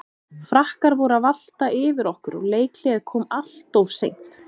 Frakkar voru að valta yfir okkur og leikhléið kom alltof seint.